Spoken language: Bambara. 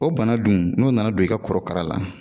O bana dun n'o nana don i ka korokara la